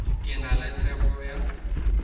ke na le tshepo ya